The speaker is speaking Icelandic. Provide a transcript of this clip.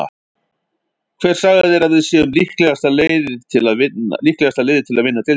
Hver sagði þér að við séum líklegasta liðið til að vinna deildina?